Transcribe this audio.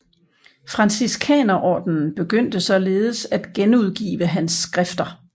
Franciskanerordenen begyndte således at genudgive hans skrifter